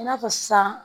I n'a fɔ sisan